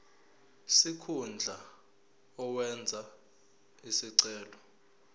sikhundla owenze isicelo